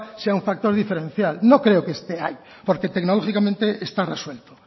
sea un factor diferencial no creo que esté ahí porque tecnológicamente está resuelto